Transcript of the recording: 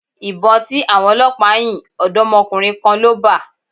Ìbọn tí àwọn Ọlọpa yìn, odomokunrin kan ló bà.